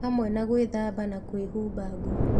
Hamwe na gwĩthamba na kwĩhumba nguo